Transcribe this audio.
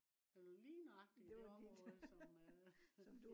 det var lige nøjagtig der hvor som øh